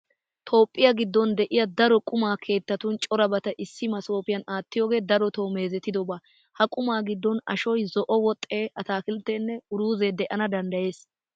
Toophphiya giddon de'iya daro quma keettatun corabata issi masoopiyan aattiyogee darotoo meezetidoba. Ha qumaa giddon ashoy, zo"o woxee, ataakiltteenne uruuzee de'ana danddayees.